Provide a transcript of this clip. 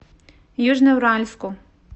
южноуральску